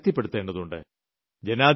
കൂടുതൽ ശക്തിപ്പെടുത്തേണ്ടതുണ്ട്